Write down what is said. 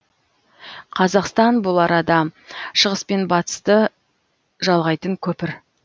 қазақстан бұл арада шығыс пен батысты жалғайтын көпір